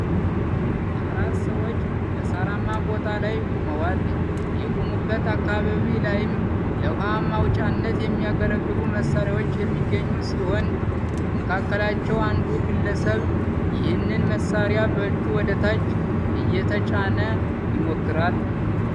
አራት ሰዎች በሳራማ ቦታ ላይ ቆመዋል የቆሙበት አካባቢ ላይም ለዉሃ ማውጫነት የሚያገለግሉ መሳሪያዎች የሚገኙ ሲሆን ከመካከላቸው አንዱ ግለሰብ ይሄንን መሳሪያ በእጁ ወደታች እየተጫነ ይሞክራል።